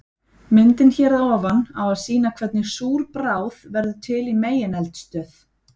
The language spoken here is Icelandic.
Myndin hér að ofan á að sýna hvernig súr bráð verður til í megineldstöð.